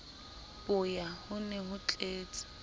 boya ho ne ho tletse